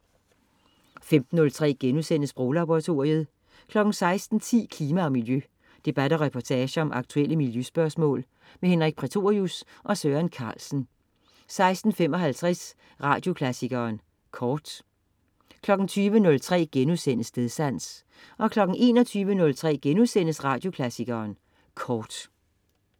15.03 Sproglaboratoriet* 16.10 Klima og Miljø. Debat og reportage om aktuelle miljøspørgsmål. Henrik Prætorius og Søren Carlsen 16.55 Radioklassikeren Kort 20.03 Stedsans* 21.03 Radioklassikeren Kort*